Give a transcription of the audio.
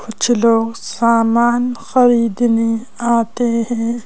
कुछ लोग सामान खरीदने आते हैं।